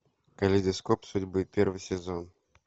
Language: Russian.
калейдоскоп судьбы первый сезон